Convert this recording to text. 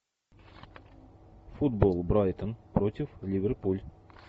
футбол брайтон против ливерпуль